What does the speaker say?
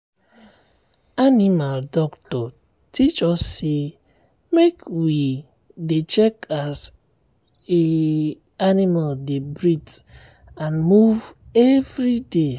animal doctor teach us say make we dey check as animal dey breath and move every day.